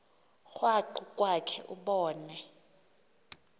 krwaqu kwakhe ubone